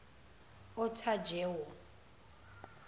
otajewo